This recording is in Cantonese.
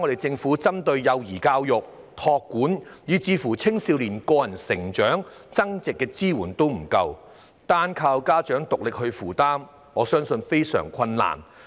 政府現時對幼兒教育、託管、青少年個人成長及增值的支援並不足夠，單靠家長獨力負擔，我相信他們非常吃力。